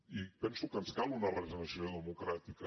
i penso que ens cal una regeneració democràtica